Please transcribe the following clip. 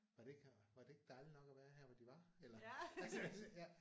Var det ikke var det ikke dejligt nok at være her hvor de var eller altså ja